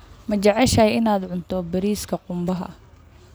Ma jeceshahay inaad cunto bariiska qumbaha?